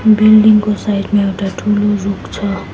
Building को side मा एउटा ठूलो रूख छ।